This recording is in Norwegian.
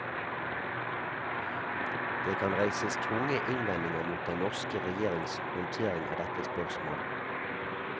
Det kan reises tunge innvendinger mot den norske regjerings håndtering av dette spørsmål.